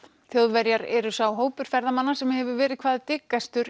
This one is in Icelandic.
Þjóðverjar eru sá hópur ferðamanna sem hefur verið hvað